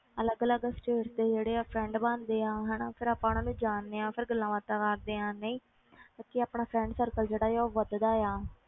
ਅਲੱਗ ਅਲੱਗ states ਦੇ ਜਿਹੜੇ ਆ friend ਬਣਦੇ ਆ ਹਨਾ ਫਿਰ ਆਪਾਂ ਉਹਨਾਂ ਨੂੰ ਜਾਣਦੇ ਹਾਂ ਫਿਰ ਗੱਲਾਂ ਬਾਤਾਂ ਕਰਦੇ ਹਾਂ ਨਹੀਂ ਸੱਚੀ ਆਪਣਾ friend circle ਜਿਹੜਾ ਹੈ ਉਹ ਵੱਧਦਾ ਆ।